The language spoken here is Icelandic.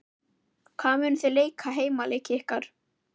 Hvar munið þið leika heimaleiki ykkar?